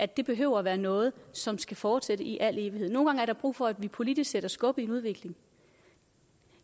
det behøver at være noget som skal fortsætte i al evighed nogle gange er der brug for at vi politisk sætter skub i en udvikling